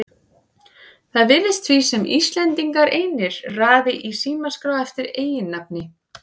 Það virðist því sem Íslendingar einir raði í símaskrá eftir eiginnafni.